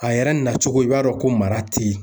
A yɛrɛ nacogo ye i b'a dɔn ko mara tɛ yen